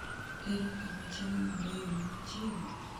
ere kama chiemo mabeyo ni machiegni?